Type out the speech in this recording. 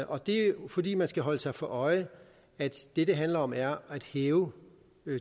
og det er jo fordi man skal holde sig for øje at det det handler om er at hæve